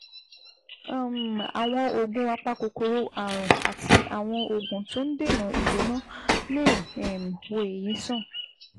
um Àwọn oògùn apakòkòrò ààrùn àti àwọn oògùn tó ń dènà ìgbóná lè um wo èyí sàn